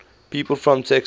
people from texas